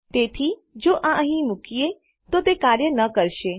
તેથી જો આ અહીં મુકીએ તો તે કાર્ય ન કરશે